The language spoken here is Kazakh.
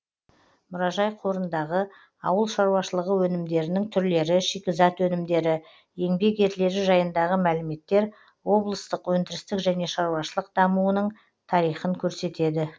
мұражай қорындағы ауыл шаруашылығы өнімдерінің түрлері шикізат өнімдері еңбек ерлері жайындағы мәліметтер облыстық өндірістік және шаруашылық дамуының тарихын көрсетеді